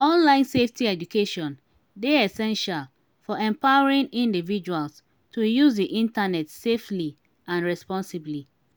online safety education dey essential for empowering individuals to use di internet safely and responsibly.